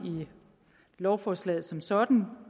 i lovforslaget som sådan